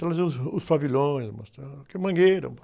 Trazer os, os pavilhões, aqui é Mangueira